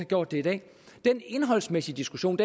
gjort det i dag den indholdsmæssige diskussion